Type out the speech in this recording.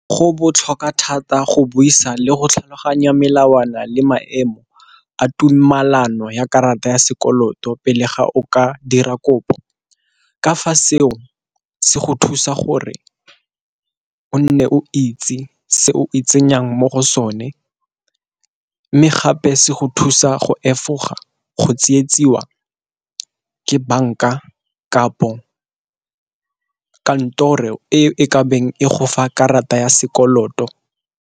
Go botlhokwa thata go buisa le go tlhaloganya melawana le maemo a tumelano ya karata ya sekoloto pele ga o ka dira kopo, ka fa seo se go thusa gore o nne o itse se o e tsenyang mo go sone mme gape se go thusa go efoga go tietsiwa ke banka kapo kantoro e ka beng e go fa karata ya sekoloto.